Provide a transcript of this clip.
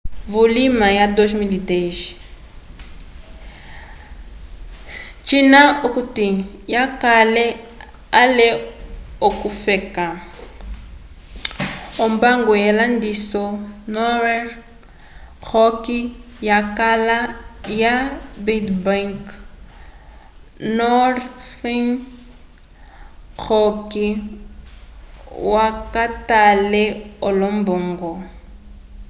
vulima wa 2010 cina okuti yakale ale ukwafeka ombango yelandiso norhern rock yakala ya bad bank” northern rock yakwatele olombongo